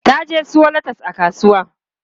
Ta je siyo latas a kasuwa.